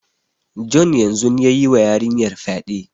John yanzun ya yi wa yarinyar fyade.